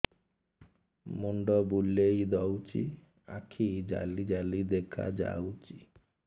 ମୁଣ୍ଡ ବୁଲେଇ ଦଉଚି ଆଖି ଜାଲି ଜାଲି ଦେଖା ଯାଉଚି